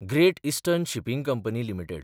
great eastern shipping company limited